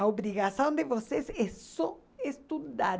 A obrigação de vocês é só estudar.